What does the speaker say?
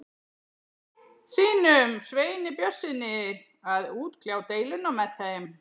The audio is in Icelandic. sínum, Sveini Björnssyni, að útkljá deiluna með þeim.